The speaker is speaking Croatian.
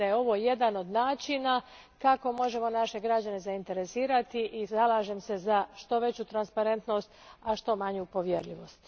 Mislim da je ovo jedan od načina kako možemo naše građane zainteresirati i zalažem se za što veću transparentnost, a što manju povjerljivost.